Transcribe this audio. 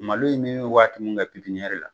Malo in bɛ min waati min kɛ pipiniyɛri la